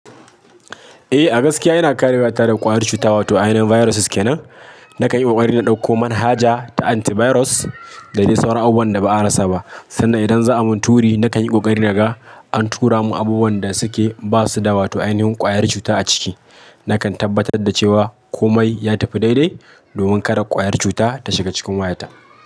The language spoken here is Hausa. Eh, gaskiya yana kare wayata da ƙwayar cuta wato ainihin viruses kenan. Nakan yi kokari na ɗauko manhaja ta antivirus da dai sauran abubuwan da ba a rasa ba, sannan idan za a mun turi nakan yi kokari naga an tura mun abubuwan da suke basu da wato ainihin ƙwayar cuta a ciki. Nakan tabbatar da cewa komai ya tafi daidai domin kada ƙwayar cuta ta shiga cikin wayata.